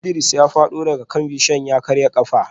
Idris ya fado daga kan bishiyar ya karya kafa